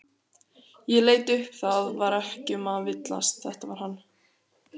Ég leit upp það var ekki um að villast, þetta var hann.